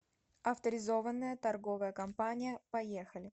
авторизованная торговая компания поехали